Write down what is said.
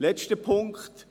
Noch ein letzter Punkt: